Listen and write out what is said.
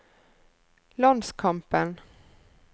landskampen